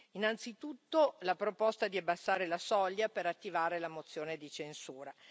Innanzitutto, la proposta di abbassare la soglia per attivare la mozione di censura.